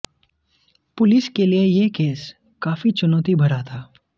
police के लिए यह केस काफी चुनौती भरा था